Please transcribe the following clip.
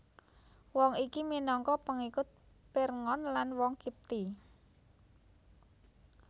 Wong iki minangka pengikut Pirngon lan wong Qibti